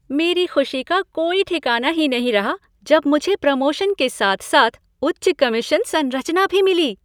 मेरी ख़ुशी का कोई ठिकाना ही नहीं रहा जब मुझे प्रमोशन के साथ साथ उच्च कमीशन संरचना भी मिली।